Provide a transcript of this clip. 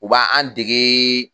U b'a an degee